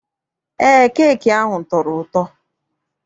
Eé, keeki ahụ tọrọ ụtọ.